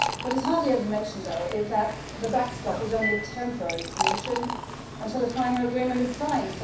What is hardly ever mentioned though is that the backstop is only a temporary solution until a final agreement is signed.